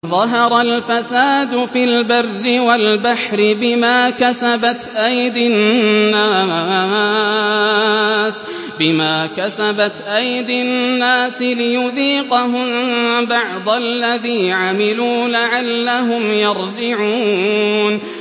ظَهَرَ الْفَسَادُ فِي الْبَرِّ وَالْبَحْرِ بِمَا كَسَبَتْ أَيْدِي النَّاسِ لِيُذِيقَهُم بَعْضَ الَّذِي عَمِلُوا لَعَلَّهُمْ يَرْجِعُونَ